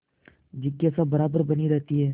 जिज्ञासा बराबर बनी रहती है